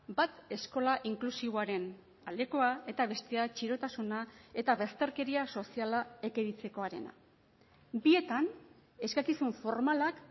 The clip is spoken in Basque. bat eskola inklusiboaren aldekoa eta bestea txirotasuna eta bazterkeria soziala ekiditekoarena bietan eskakizun formalak